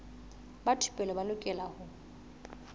ba thupelo ba lokela ho